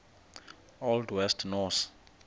old west norse